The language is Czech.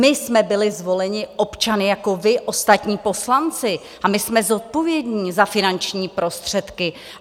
My jsme byli zvoleni občany jako vy, ostatní poslanci, a my jsme zodpovědní za finanční prostředky.